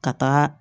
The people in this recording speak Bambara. Ka taaga